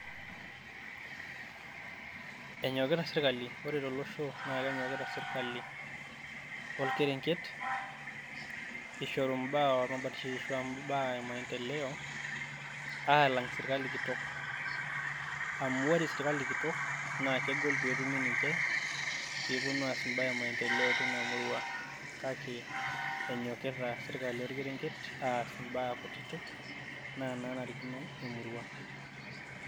Enyokita sirkali, ore to losho naa kenyokita sirkali orkerenket ishoru imbaa olmabarishoi, arashu imbaa e maendeleo aalang sirkali kitok. Amu ore sirkali kitok naa kegol pee etumi ninche pee eponu aas imbaa e maendeleo teina murua. Kake enyokita sirkali olkerenget aas imbaa kutitik naa nanarikino e murua.